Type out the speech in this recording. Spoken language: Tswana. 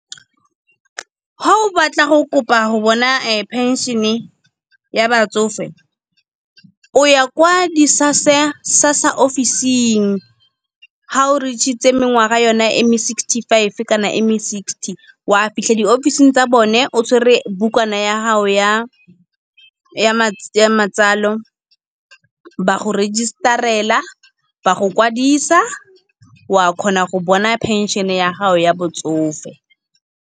Ga o batla go kopa go bona phenšene ya batsofe. O ya kwa di-SASSA ofising, ga o reach-itse mengwaga yona e me sixty five, kana e me sixty. Wa fitlha diofising tsa bone o tshwere bukana ya gago ya matsalo ba go register-ela, ba go kwadisa wa kgona go bona pension-e ya gago ya botsofe.